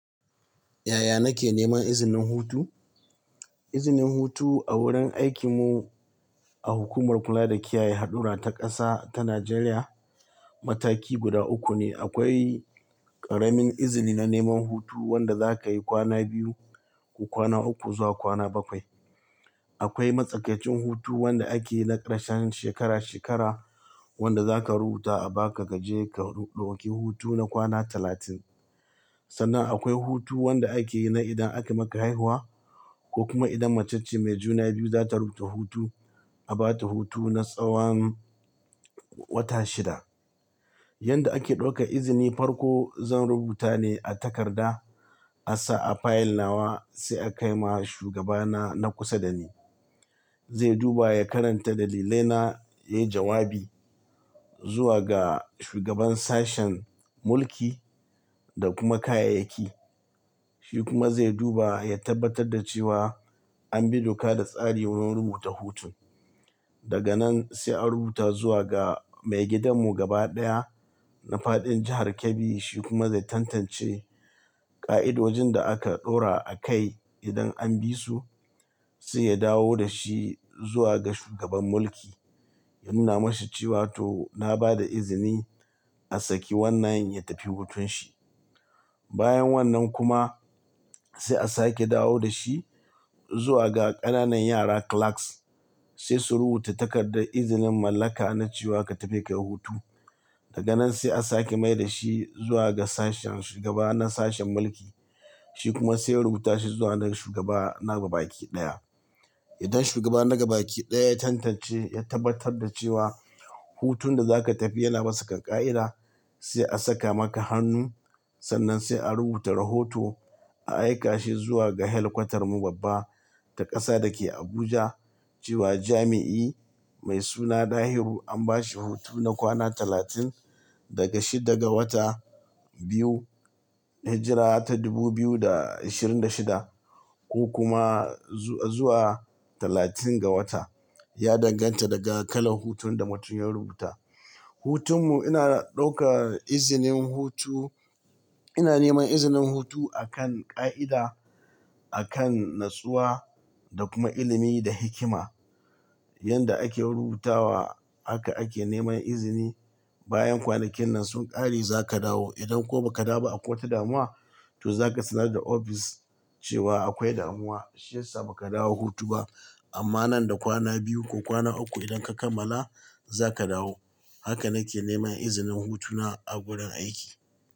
Yaya nake neman izinin hutu? Izinin hutu a wurin aikin mu a hukumar kula da kiyaye hadura ta ƙasa ta Najeriya, mataki guda uku ne akwai ƙaramin izini na neman hutu wanda za ka yi kwana biyu ko kwana uku zuwa kwana bakwai. Akwai matsakaicin hutu wanda ake yi na ƙarshen shekara shekara wanda za ka rubuta a baka ka je ka ɗauki hutu na kwana talatin. Sannan akwai hutu wanda ake yi na idan aka maka haihuwa ko kuma idan macece mai juna biyu za ta rubuta hutu, a ba ta hutu na tsawan wata shida. Yanda ake ɗauka izini, farko zan rubuta ne a takarda, a sa a fayil nawa sai a kai ma shugaba na, na kusa da ni. Zai duba ya karanta dalilai na, ya yi jawabi zuwa ga shugaban sashen mulki da kuma kayayyaki. Shi kuma zai duba ya tabbatar da cewa an bi doka da tsari wurin rubuta hutun. Daga nan sai a rubuta zuwa ga mai gidan mu gaba daya na faɗin jahar Kebbi shi kuma zai tantance ƙa'idojin da aka ɗora a kai idan an bi su, sai ya dawo da shi zuwa ga shugaban mulki ya nuna masa cewa to na ba da izini a saki wannan ya tafi hutun shi. Bayan wannan kuma sai a sake dawo da shi zuwa ga ƙananan yara clerks sai su rubuta takardar izinin mallaka na cewa ka tafi ka yi hutu. Daga nan sai a sake mai da shi zuwa ga sashen shugaba na sashen mulki. Shi kuma sai ya rubuta shi zuwa ga shugaba na gaba baki ɗaya. Idan shuga na gabaki ɗaya ya tantance ya tabbatar da cewa hutun da zaka tafi yana bisa ƙa i da sai a saka maka hannu sannan sai a rubuta rahoto a aika shi zuwa ga helkwatar mu babba ta ƙasa da ke Abuja cewa jami'i mai suna dahiru an ba shi hutu na kwana talatin daga shidda ga wata biyu hijira ta dubu biyu da ashirin da shida ko kuma zuwa talatin ga wata. Ya danganta daga kalan hutun da mutum ya rubuta. Hutun mu ina ɗauka izinin hutu, ina neman izinin hutu a kan ƙa'ida, a kan nutsuwa da kuma ilimi da hikima. Yanda ake rubutawa haka ake neman izini. Bayan kwanakin nan sun ƙare za ka dawo. Idan ko ba ka dawo a kotu damuwa, to za ka sanar da office cewa akwai damuwa shiyasa ba ka dawo hutu ba. Amman nan da kwana biyu ko kwana ukku idan ka kammala zaka dawo. Haka nake neman izinin hutuna a gurin aiki.